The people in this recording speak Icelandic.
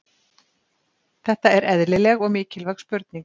Þetta er eðlileg og mikilvæg spurning.